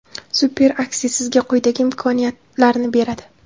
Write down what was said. Super aksiya sizga quyidagi imkoniyat larni beradi.